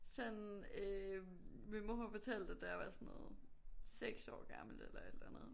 Sådan øh min mor hun fortalte at da jeg var sådan noget 6 år gammel eller et eller andet